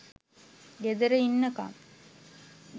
ගෙදර ඉන්නකම්